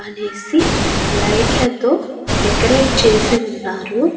అనేసి లైట్లతో డెకరేట్ చేసి ఉన్నారు.